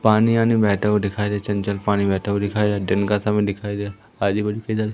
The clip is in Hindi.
पानी आनी बहता हुआ दिखाई दे रहा चंचल पानी बहता दिखाई दे रहा दिन का समय दिखाई दे रहा आजु-बाजु --